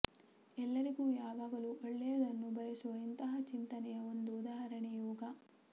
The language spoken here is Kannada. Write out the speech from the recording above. ಎಲ್ಲರಿಗೂ ಯಾವಾಗಲೂ ಒಳ್ಳೆಯದನ್ನು ಬಯಸುವ ಇಂತಹ ಚಿಂತನೆಯ ಒಂದು ಉದಾಹರಣೆ ಯೋಗ